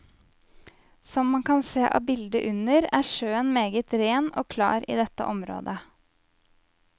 Som man kan se av bildet under er sjøen meget ren og klar i dette området.